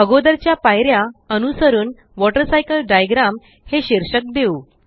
अगोदरच्या पायऱ्या अनुसरून वॉटरसायकल डायग्राम हे शीर्षक देऊ